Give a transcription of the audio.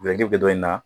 bɛ dɔ in na